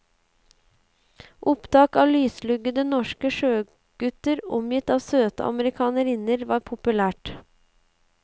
Opptak av lysluggede norske sjøgutter omgitt av søte amerikanerinner var populært.